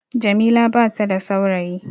Jamila bata da saurayi